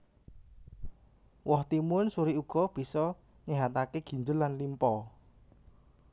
Woh timun suri uga bisa nyéhataké ginjel lan limpa